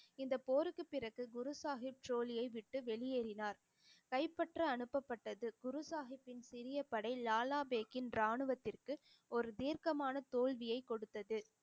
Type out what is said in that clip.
இந்த போருக்கு பிறகு குரு சாஹிப் ட்ரோலியை விட்டு வெளியேறினார் கைப்பற்ற அனுப்பப்பட்டது குரு சாஹிப்பின் சிறிய படை லாலா பேக்கின் ராணுவத்திற்கு ஒரு தீர்க்கமான தோல்வியைக் கொடுத்தது